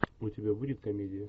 у тебя будет комедия